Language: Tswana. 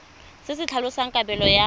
se se tlhalosang kabelo ya